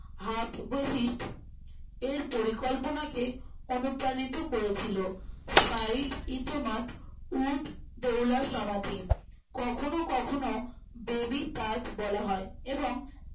হাতবহিষ্ঠ এর পরিকল্পনাকে অনুপ্রাণিত করেছিল সৈয়দ-ই-তোহমত উদ-দৌল্লার সমাপিন কখনো কখনো baby তাজ বলা হয়